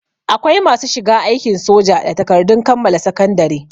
Akwai masu shiga aikin soja da takardun kammala sakandare